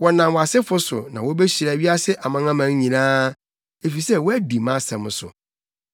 Wɔnam wʼasefo so na wobehyira wiase amanaman nyinaa, efisɛ woadi mʼasɛm so.”